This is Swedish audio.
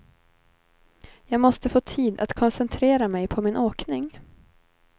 Jag måste få tid att koncentrera mig på min åkning.